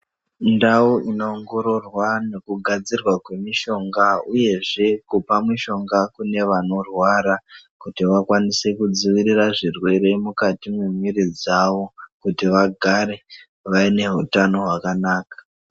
Ndau inoongororwa nekugadzirwa kwemishonga uyezve kupa mishonga kune vanorwara kuti vakwanise kudzivirira zvirwere mukati memwiiri dzavo kuti vagare vaine utano hwakanaka.